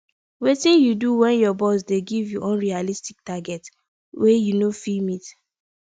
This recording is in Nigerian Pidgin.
wetin you do when your boss dey give you unrealistic targets wey you no fit meet